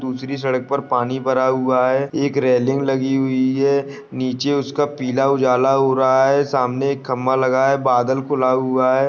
दूसरी सड़क पर पानी भरा हुआ है एक रेलिंग लगी हुई है नीचे उसका पीला उजाला हो रहा है सामने एक खंभा लगाया बादल खुला हुआ है।